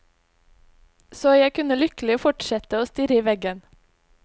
Så jeg kunne lykkelig fortsette å stirre i veggen.